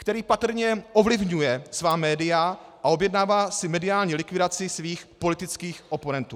který patrně ovlivňuje svá média a objednává si mediální likvidaci svých politických oponentů;